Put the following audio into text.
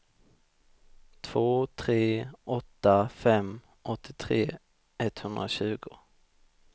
två tre åtta fem åttiotre etthundratjugo